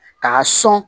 K'a sɔn